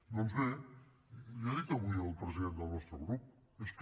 doncs bé l’hi ha dit avui el president del nostre grup és que